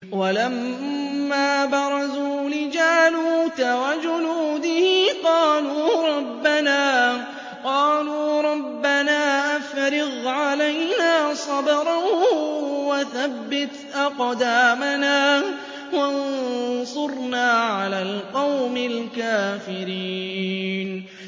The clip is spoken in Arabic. وَلَمَّا بَرَزُوا لِجَالُوتَ وَجُنُودِهِ قَالُوا رَبَّنَا أَفْرِغْ عَلَيْنَا صَبْرًا وَثَبِّتْ أَقْدَامَنَا وَانصُرْنَا عَلَى الْقَوْمِ الْكَافِرِينَ